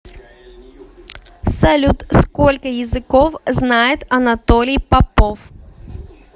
салют сколько языков знает анатолий попов